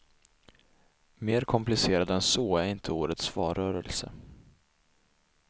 Mer komplicerad än så är inte årets valrörelse.